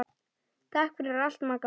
Takk fyrir allt Magga mín.